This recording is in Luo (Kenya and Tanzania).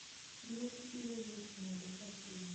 liet biro bet nade ka kiny